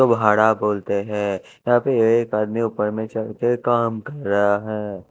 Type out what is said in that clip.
बोलते है तभी एक आदमी ऊपर में चढ़के काम कर रहा है।